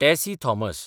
Tessy Thomas